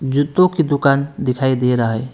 जूतों की दुकान दिखाई दे रहा है।